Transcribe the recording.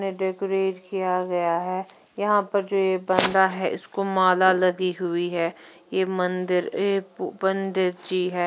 Decorate किया गया है यहाँ पर जो ये बंदा है इसको माला लगी हुई है ये मंदिर एक पंडित जी है।